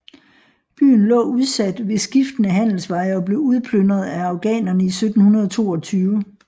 Byen lå udsat ved skiftende handelsveje og blev udplyndret af afghanerne i 1722